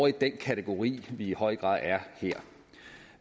i den kategori vi i høj grad er